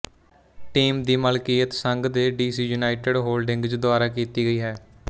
team ਦੀ ਮਾਲਕੀਅਤ ਸੰਘ ਦੇ ਡੀਸੀ ਯੂਨਾਈਟਿਡ ਹੋਲਡਿੰਗਜ਼ ਦੁਆਰਾ ਕੀਤੀ ਗਈ ਹੈ